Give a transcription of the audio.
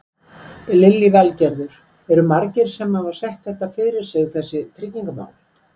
Lillý Valgerður: Eru margir sem hafa sett þetta fyrir sig þessi tryggingamál?